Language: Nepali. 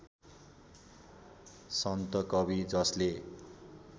सन्त कवि जसले